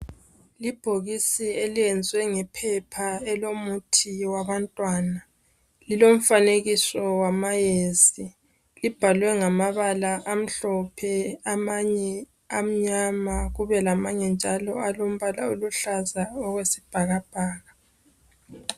Ibhokisi eliyenziwe ngephepha elomuthi wabantwana. Lilomfanekiso wamayezi. Libhalwe ngamabala amhlophe amanye amnyama kube lamanye njalo alombala aluhlaza okwesibhakabhaka.